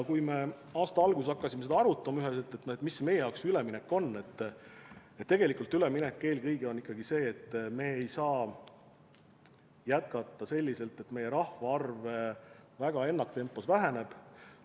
Kui me aasta alguses hakkasime arutama, milline meie jaoks see üleminek on, siis tegelikult eelkõige peame arvestama, et me ei saa jätkata selliselt, et meie rahvaarv ennaktempos väheneb.